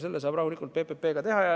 Selle saab rahulikult PPP abil ära teha.